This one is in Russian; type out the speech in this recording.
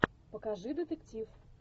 покажи детектив